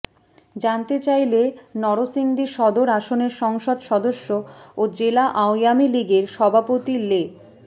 জানতে চাইলে নরসিংদী সদর আসনের সংসদ সদস্য ও জেলা আওয়ামী লীগের সভাপতি লে